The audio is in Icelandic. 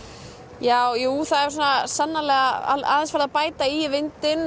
ja jú það er sannarlega farið að bæta í vindinn